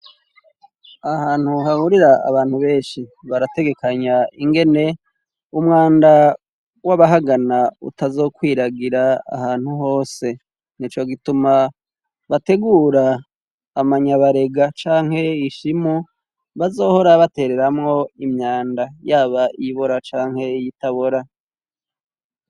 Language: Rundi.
Ahantu hahurira abantu benshi barategekanya ingene umwanda w'abahagana utazokwiragira ahantu hose ni co gituma bategura amanyabarega canke ishimu bazohora batereramo imyanda yaba ibora canke iyitabora.